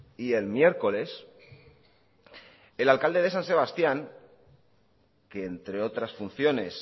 y el miércoles el alcalde de san sebastián que entre otras funciones